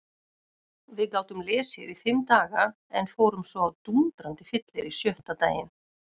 Við gátum lesið í fimm daga en fórum svo á dúndrandi fyllerí sjötta daginn.